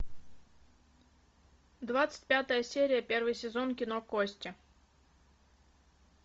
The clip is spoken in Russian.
двадцать пятая серия первый сезон кино кости